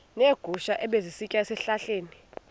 neegusha ebezisitya ezihlahleni